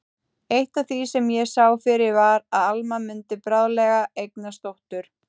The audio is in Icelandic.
Eitt af því sem ég sá fyrir var að Alma mundi bráðlega eignast dóttur.